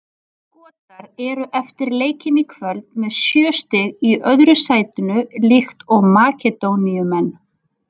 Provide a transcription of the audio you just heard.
Skotar eru eftir leikinn í kvöld með sjö stig í öðru sætinu líkt og Makedóníumenn.